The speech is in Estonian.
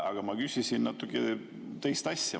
Aga ma küsisin natuke teist asja.